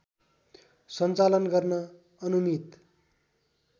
सञ्चालन गर्न अनुमित